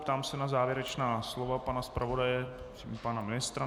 Ptám se na závěrečná slova pana zpravodaje i pana ministra.